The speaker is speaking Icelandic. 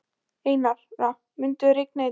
Einara, mun rigna í dag?